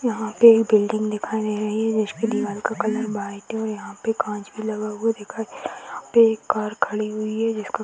यहाँ पे ये बिल्डिंग दिखाइ दे रही है जिसको दीवाल का कलर वाइट है और यहाँ पर काँच भी लगा हुआ दिखाई दे रहा है यहाँ पर कार खड़ी हुई है जिसका --